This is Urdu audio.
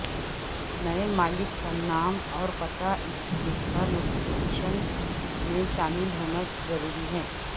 نئے مالک کا نام اور پتہ اس لکھا نوٹیفکیشن میں شامل ہونا ضروری ہے